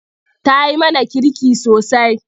Ta yi mana kirki sosai.